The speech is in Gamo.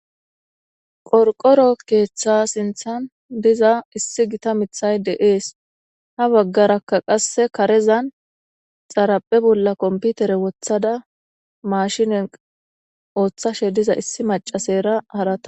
Qorqoro keththa sinththan diza issi gita miiththay de'ees ha baggara qase kareza xaraphphe bolla kompitere woththada maashinen ooththashe diza issi macashera haratara